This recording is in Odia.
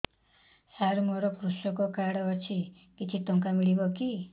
ସାର ମୋର୍ କୃଷକ କାର୍ଡ ଅଛି କିଛି ଟଙ୍କା ମିଳିବ କି